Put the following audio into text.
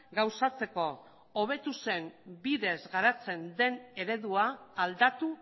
gauzatzeko hobetu zen bidez garatzen den eredua aldatu